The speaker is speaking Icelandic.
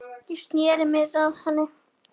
Ég sneri mér að henni.